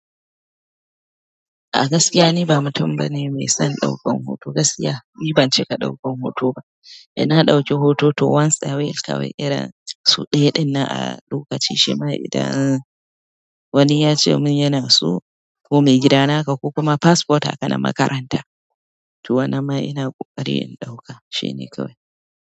A gaskiya niba mutum bane mai son ɗaukan hoto ba gaskiya ni bancika ɗaukan hoto ba inna ɗauki hoto once a whiles kawai irin sau ɗaya ɗinnan a lokaci shima idan wani ya ce mun yana so ko mai gidana haka ko kuma passport haka na makaranta. To, wannan ma ina ƙoƙari in ɗauka shine kawai.